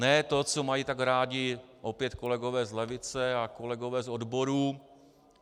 Ne to, co mají tak rádi opět kolegové z levice a kolegové z odborů.